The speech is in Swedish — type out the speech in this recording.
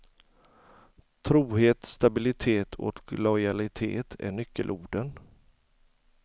Trohet, stabilitet och lojalitet är nyckelorden.